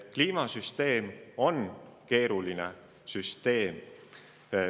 Kliimasüsteem on keeruline süsteem.